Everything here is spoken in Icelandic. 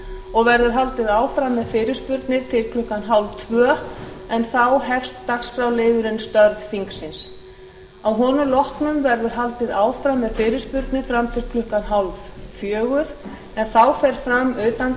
og verður haldið áfram með fyrirspurnir til klukkan hálftvö en þá hefst dagskrárliðurinn störf þingsins að honum loknum verður haldið áfram með fyrirspurnir að til klukkan hálffjögur en þá fer fram utandagskrárumræða